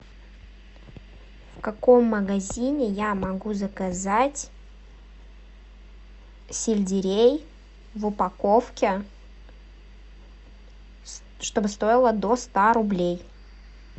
в каком магазине я могу заказать сельдерей в упаковке чтобы стоило до ста рублей